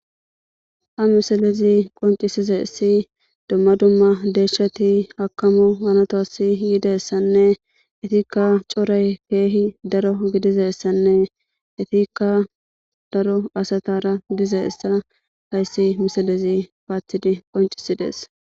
a misalezi qoncisizayssi dumma dumma deeshshati hakamo hanatoasi yidayisanne etikka coray keehi daro gidizayissanne itikka daro asatara diza essa hayssi misalezi paathidi qoncisidees